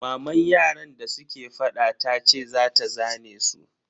Maman yaran da suke fada tace za ta zane su.